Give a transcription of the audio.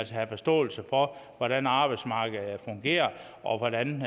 have forståelse for hvordan arbejdsmarkedet fungerer og hvordan